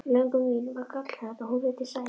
Löngun mín var gallhörð og hún virtist sæmi